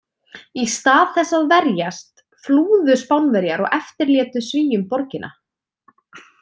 Í stað þess að verjast, flúðu Spánverjar og eftirlétu Svíum borgina.